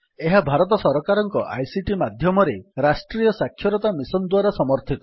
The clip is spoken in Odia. ଏହା ଭାରତ ସରକାରଙ୍କ ଆଇସିଟି ମାଧ୍ୟମରେ ରାଷ୍ଟ୍ରୀୟ ସାକ୍ଷରତା ମିଶନ୍ ଦ୍ୱାରା ସମର୍ଥିତ